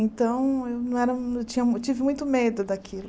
Então, eu não era eu tinha eu tive muito medo daquilo.